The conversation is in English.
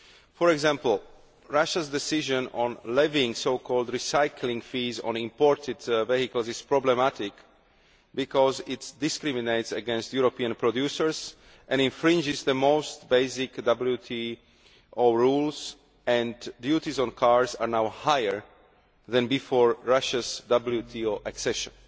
For example, Russia's decision on levying so called recycling fees' on imported vehicles is problematic, because it discriminates against European producers and infringes the most basic WTO rules, and duties on cars are now higher than before Russia's WTO accession.